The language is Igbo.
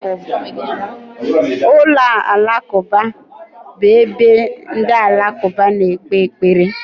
Ụlọ alakụba bụ ebe ndị alakụba na-ekpe ekpere.